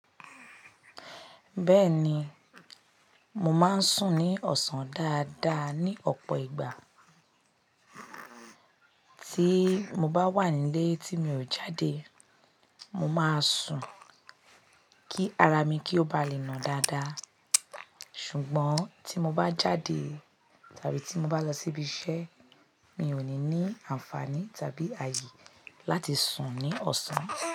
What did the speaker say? Bẹ́ẹ̀ni, mo máa ń sùn ní ọ̀sán dáadáa ní ọ̀pọ̀ ìgbà. Tí mo bá wà nílé tí mi ò jáde, mo máa sùn kí ara mi kí ó ba lè nà dáadáa. Ṣùgbọ́n tí mo bá jáde tàbí tí mo bá lọ síbi iṣẹ́ mìí ó ní nì ànfàní tàbí ààyè láti sùn ni ọ̀sán.